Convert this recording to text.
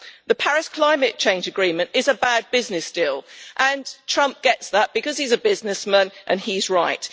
The Paris climate change agreement is a bad business deal, and Trump gets that because he is a businessman and he is right.